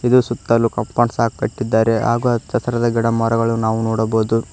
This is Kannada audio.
ಇದು ಸುತ್ತಲು ಕಾಂಪೌಂಡ್ ಸಹ ಕಟ್ಟಿದ್ದಾರೆ ಹಾಗು ಹಚ್ಚ ಹಸಿರಾದ ಗಿಡ ಮರಗಳು ನಾವು ನೋಡಬಹುದು.